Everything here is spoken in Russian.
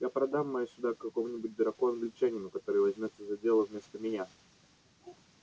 я продам мои суда какому-нибудь дураку-англичанину который возьмётся за дело вместо меня